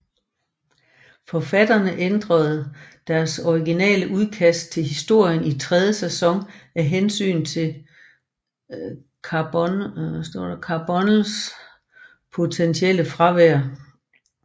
Forfatterne ændrede deres originale udkast til historien i tredje sæson af hensyn til Carbonells potentielle fravær